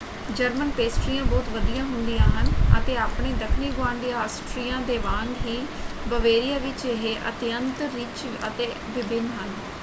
German ਪੇਸਟਰੀਆਂ ਬਹੁਤ ਵਧੀਆ ਹੁੰਦੀਆਂ ਹਨ ਅਤੇ ਆਪਣੇ ਦੱਖਣੀ ਗੁਆਂਢੀ ਆਸਟ੍ਰੀਆ ਦੇ ਵਾਂਗ ਹੀ ਬਵੇਰੀਆ ਵਿੱਚ ਇਹ ਅਤਿਅੰਤ ਰਿਚ ਅਤੇ ਵਿਭਿੰਨ ਹਨ।